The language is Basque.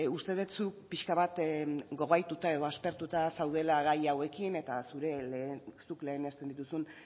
uste dut zuk pixka bat gogaituta edo aspertuta zaudela gai hauekin eta zuk lehenesten dituzun